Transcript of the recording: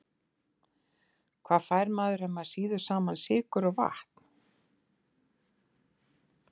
Hvað fær maður ef maður sýður saman sykur og vatn?